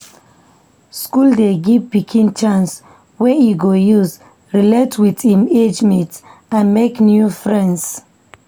School dey give pikin chance wey e go use relate with im age mates and make new friends.